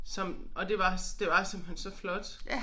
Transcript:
Som og det var det var simpelthen så flot